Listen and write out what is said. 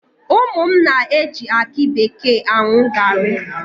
Ụmụ m na-eji aki bekee aṅụ gaarị.